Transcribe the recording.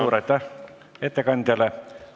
Suur aitäh ettekandjale!